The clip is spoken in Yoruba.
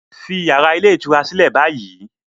Leave the hotel room now